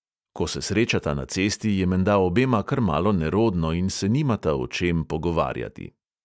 Ko se srečata na cesti, je menda obema kar malo nerodno in se nimata o čem pogovarjati.